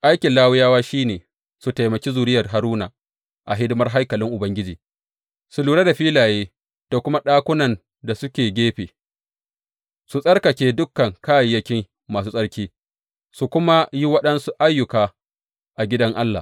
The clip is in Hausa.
Aikin Lawiyawa shi ne su taimaki zuriyar Haruna a hidimar haikalin Ubangiji; su lura da filaye da kuma ɗakunan da suke gefe, su tsarkake dukan kayayyaki masu tsarki, su kuma yi waɗansu ayyuka a gidan Allah.